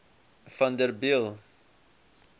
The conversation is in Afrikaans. vanderbijl